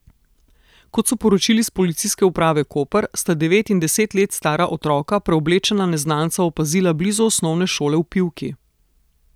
Kot so sporočili s Policijske uprave Koper, sta devet in deset let stara otroka preoblečena neznanca opazila blizu osnovne šole v Pivki.